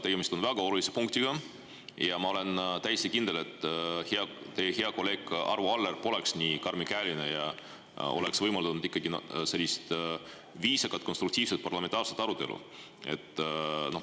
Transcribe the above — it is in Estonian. Tegemist on väga olulise punktiga ja ma olen täiesti kindel, et teie hea kolleeg Arvo Aller poleks olnud nii karmikäeline ja oleks võimaldanud ikkagi sellist viisakat, konstruktiivset parlamentaarset arutelu.